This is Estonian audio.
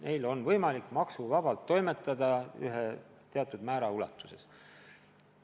Neil on võimalik teatud määra ulatuses maksuvabalt toimetada.